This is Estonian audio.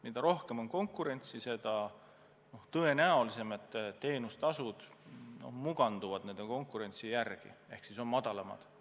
Mida rohkem on konkurentsi, seda tõenäolisem, et teenustasud muganduvad konkurentsi järgi ehk siis on madalamad.